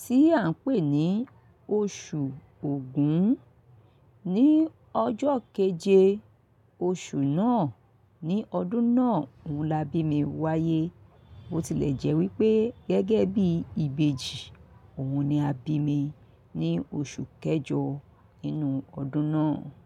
tí à ń pè ní oṣù Ògún. Ni ọjọ́ keje oṣù náà ní ọdún náà òun la bí mi wáyé. Ó tilẹ̀ jẹ́ wípé gẹ́gẹ́ bí ìbejì, òun ni a bí mi ní oṣù kẹjọ nínú ọdún náà.